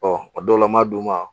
o dɔw la m'a d'u ma